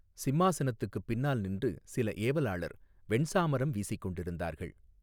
சிம்மாசனத்துக்குப் பின்னால் நின்று சில ஏவலாளர் வெண்சாமரம் வீசிக் கொண்டிருந்தார்கள்.